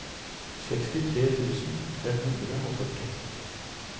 sekstitre tusen fem hundre og førti